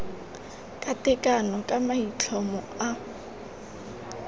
ka tekano ka maitlhomo a